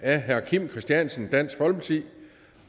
af herre kim christiansen dansk folkeparti